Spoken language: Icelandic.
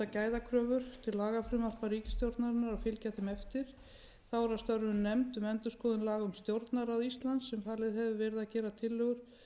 gæðakröfur til lagafrumvarpa ríkisstjórnarinnar og fylgja þeim eftir þá er að störfum nefnd um endurskoðun laga um stjórnarráð íslands sem falið hefur verið að gera tillögur